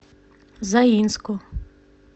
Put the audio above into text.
заинску